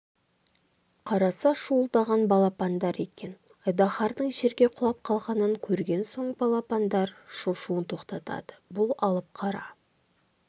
қараса шуылдаған балапандар екен айдаһардың жерге құлап қалғанын көрген соң балапандар шошуын тоқтатады бұл алып қара